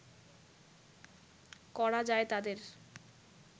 করা যায় তাদের